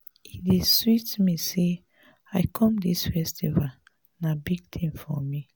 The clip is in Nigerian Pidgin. e dey sweet me say i come dis festival. na big thing for me.